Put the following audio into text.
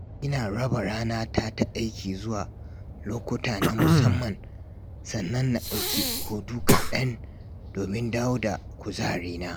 Ina raba ranata ta aiki zuwa lokuta na musamman, sannan na ɗauki hutu kaɗan domin dawo da kuzarina.